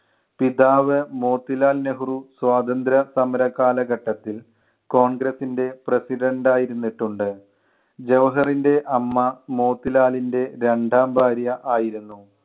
പിതാവ് മോത്തിലാൽ നെഹ്‌റു സ്വാതന്ത്ര്യ സമര കാലഘട്ടത്തിൽ കോൺഗ്രെസ്സിൻ്റെ president ആയി ഇരുന്നിട്ടിട്ടുണ്ട്. ജവഹറിൻ്റെ 'അമ്മ മോത്തിലാലിൻ്റെ രണ്ടാം ഭാര്യ ആയിരുന്നു.